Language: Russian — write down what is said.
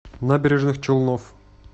набережных челнов